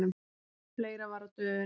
Fleira var á döfinni.